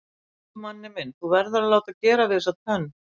Elsku Manni minn þú verður að láta gera við þessa tönn.